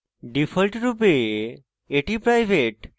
ডিফল্টরূপে এটি private